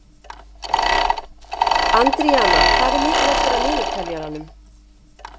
Andríana, hvað er mikið eftir af niðurteljaranum?